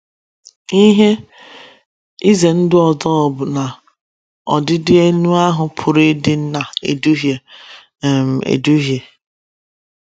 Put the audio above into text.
Ihe ize ndụ ọzọ bụ na ọdịdị elu ahụ pụrụ ịdị na - eduhie um eduhie.